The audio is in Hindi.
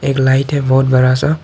एक लाइट है बहोत बड़ा सा।